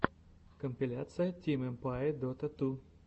компиляция тим эмпае дота ту